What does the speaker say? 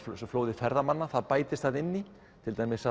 og þessu flóði ferðamanna það bætist þarna inni í til dæmis